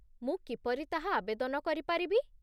ମୁଁ କିପରି ତାହା ଆବେଦନ କରିପାରିବି?